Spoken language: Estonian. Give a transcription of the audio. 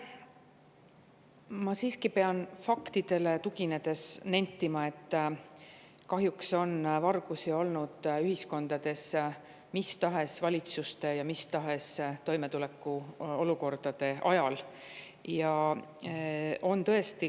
Ma pean siiski faktidele tuginedes nentima, et kahjuks on vargusi olnud ühiskondades mis tahes valitsuste ja mis tahes toimetulekuolukordade ajal.